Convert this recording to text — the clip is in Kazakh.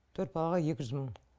төрт балаға екі жүз мың